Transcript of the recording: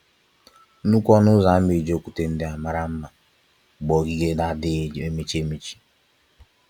Nnukwu ọnụ ụzọ ámá eji okwúte ndị a mara mma gbaa ogige adịghị emechi emechi.